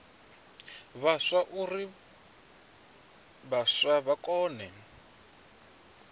vhaswa uri vhaswa vha kone